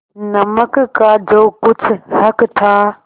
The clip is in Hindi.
नमक का जो कुछ हक था